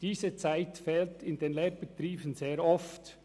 Diese Zeit fehlt in den Lehrbetrieben sehr oft.